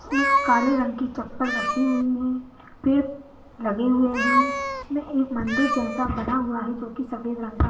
एक काले रंग की चप्पल रखी हुई है पेड़ लगे हुए हैं उसमे एक मंदिर जैसा बना हुआ है जो कि सफ़ेद रंग का--